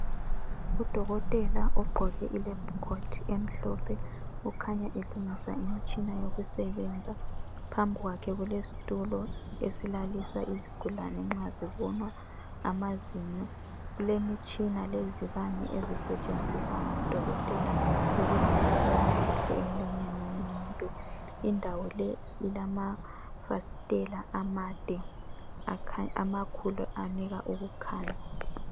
Udokotela ogqoke ilebhu khothi emhlophe ukhanya elungisa umtshina wokusebenza, phambi kwakhe kulesitulo esilalisa izigulane nxa zibonwa amazinyo. Kulemitshina lezibane ezisetshenziswa ngodokotela ukuze bebone kahle emlonyeni womuntu. Indawo le ilamafastela amade amakhulu anika ukukhanya.